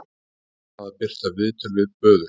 Bannað að birta viðtöl við böðul